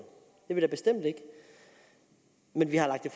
det er vi da bestemt ikke men vi har lagt